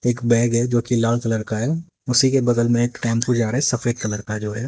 एक बैग है जो कि लाल कलर का है उसी के बगल में एक टेंपू जा रहा है जो सफेद कलर का जो है।